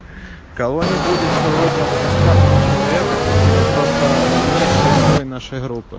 кого не будет сегодня в гостях у человека тот просто низший слой нашей группы